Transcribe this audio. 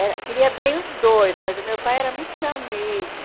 Era queria bem os dois, mas meu pai era muito meu amigo.